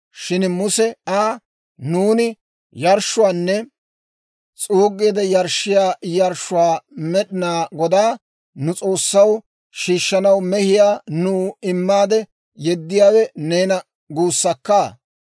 Shin Muse Aa, «Nuuni yarshshuwaanne s'uuggiide yarshshiyaa yarshshuwaa Med'inaa Godaa, nu S'oossaw, shiishshanaw, mehiyaa nuw immaade yeddiyaawe neena guussakka?